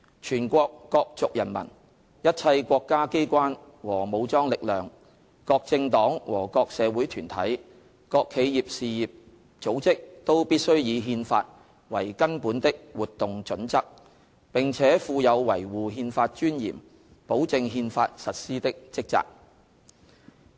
全國各族人民、一切國家機關和武裝力量、各政黨和各社會團體、各企業事業組織，都必須以憲法為根本的活動準則，並且負有維護憲法尊嚴、保證憲法實施的職責。